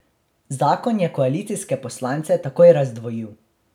Zakon je koalicijske poslance takoj razdvojil.